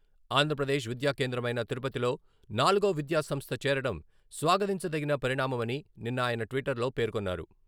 ఆంధ్రప్రదేశ్ విద్యా కేంద్రమైన తిరుపతిలో నాలుగో విద్యా సంస్థ చేరడం స్వాగతించదగిన పరిణామమని నిన్న ఆయన ట్విట్టర్లో పేర్కొన్నారు.